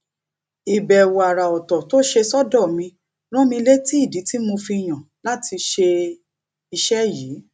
ìbèwò àrà òtò tó ṣe sódò mi rán mi létí ìdí tí mo fi yàn láti ṣe iṣé yìí